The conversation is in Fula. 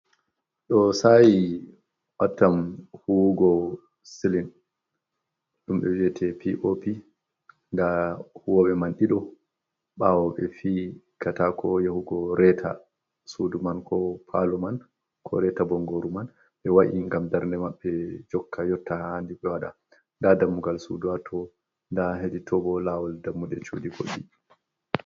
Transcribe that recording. Ɗo saayi wattam huuwugo silin, ɗum ɓe wi'ete POP. Nda huuwoobe man ɗiɗo, ɓawo ɓe fi katako yahugo reeta sudu man, ko palo man, ko reta bongoru man. Ɓe wa’i ngam darnde maɓɓe jokka yotta haa handi ɓe waɗa. Nda dammugal suudu hatto, nda hedi too bo, lawol dammuɗe cuɗi woni.